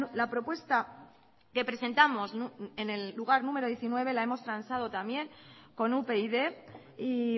la propuesta que presentamos en el lugar número diecinueve la hemos transado también con upyd y